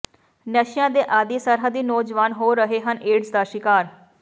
ਨਸ਼ਿਆਂ ਦੇ ਆਦੀ ਸਰਹੱਦੀ ਨੌਜਵਾਨ ਹੋ ਰਹੇ ਹਨ ਏਡਜ਼ ਦਾ ਸ਼ਿਕਾਰ